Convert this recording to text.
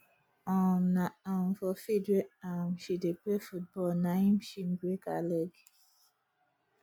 um na um for field where um she dey play football na im she break her leg